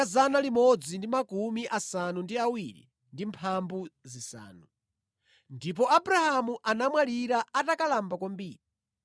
Abrahamu anamwalira atakalamba kwambiri ndipo anakakhala ndi anthu a mtundu wake.